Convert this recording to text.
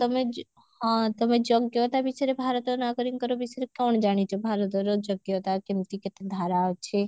ତମେ ଯୁ ହଁ ତମେ ଯୋଗ୍ୟତା ବିଷୟରେ ଭାରତ ନାଗରିକଙ୍କ ବିଷୟରେ କଣ ଜାଣିଛ ଭାରତର ଯୋଗ୍ୟତା କେମତି କେତେ ଧାରା ଅଛି